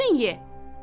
Özün ye!